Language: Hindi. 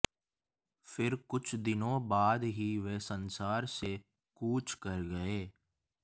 फिर कुछ दिनों बाद ही वे संसार से कूच कर गए